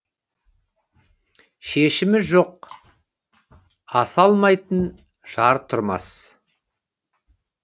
шешімі жоқ аса алмайтын жар тұрмас